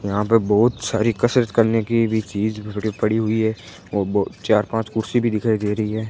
यहां पे बहुत सारी कसरत करने की भी चीज बड़ी पड़ी हुई है और वो चार पांच कुर्सी भी दिखाई दे रही है।